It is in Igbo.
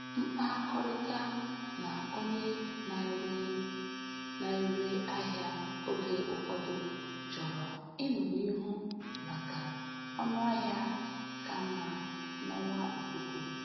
Mkpakọrịta na onye na-ere na-ere ahịa oge ụfọdụ chọrọ ịnọ n'ihu maka ọnụahịa ka mma n'ọwa ikuku.